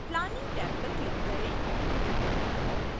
planning tab पर click करें